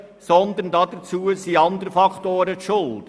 Daran sind andere Faktoren schuld: